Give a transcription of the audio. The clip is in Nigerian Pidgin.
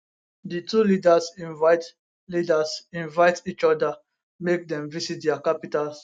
di two leaders invite leaders invite each oda make dem visit dia capitals